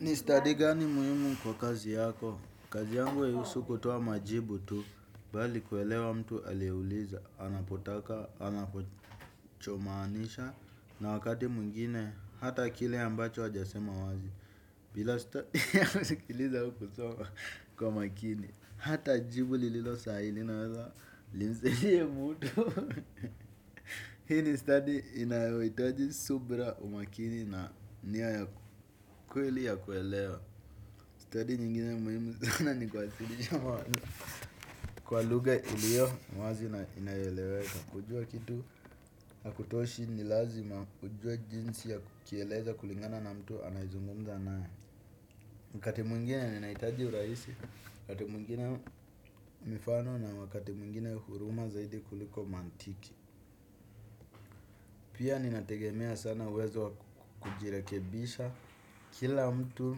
Ni stadi gani muhimu kwa kazi yako, kazi yangu haihusu kutoa majibu tu, bali kuelewa mtu aliyeuliza, anapotaka, anachomaanisha, na wakati mwingine, hata kile ambacho hajasema wazi, bila sita kusikiliza au kusoma kwa makini, hata jibu lililo sahihi linaweza, limhisie mtu. Hii ni stadi inayohitaji subira umakini na nia ya kweli ya kuelewa. Study nyingine muhimu sana ni kuwasilisha mawazo kwa lugha iliyo wazi na inayoeleweka. Kujua kitu hakutoshi ni lazima ujue jinsi ya kukieleza kulingana na mtu anayezungumza nae. Wakati mwingine ninahitaji urahisi, wakati mwingine mifano na wakati mwingine huruma zaidi kuliko mantiki. Pia ninategemea sana uwezo wa kujirekebisha. Kila mtu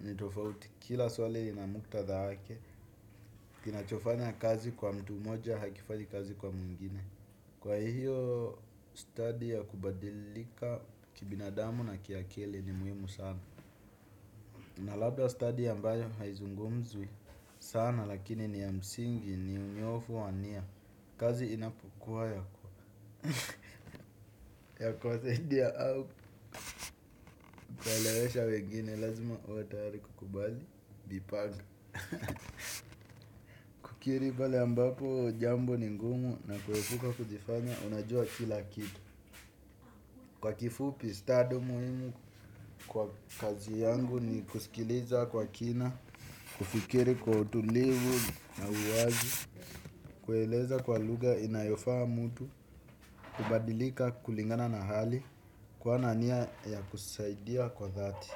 nitofauti, kila swali lina muktadha wake, kinachofanya kazi kwa mtu mmoja hakifanyi kazi kwa mwingine. Kwa hiyo study ya kubadilika kibinadamu na kiakili ni muhimu sana na labda study ambayo haizungumzwi sana lakini ni ya msingi ni unyofu wa nia. Kazi inapokua ya kuwasaidia au kuwaelewesha wengine lazima uwe tayari kukubali, kujipanga. Kukiri pale ambapo jambo ni ngumu na kuepuka kujifanya unajua kila kitu. Kwa kifupi study muhimu kwa kazi yangu ni kusikiliza kwa kina. Kufikiri kwa utulivu na uwazi. Kueleza kwa lugha inayofaa mtu. Kubadilika kulingana na hali. Kuwa na nia ya kusaidia kwa dhati.